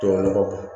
Tubabu nɔgɔ don